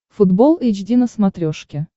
футбол эйч ди на смотрешке